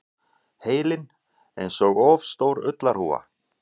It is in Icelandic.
Heilinn einsog of stór ullarhúfa.